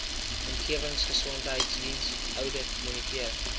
omgewingsgesondheidsdiens oudit moniteer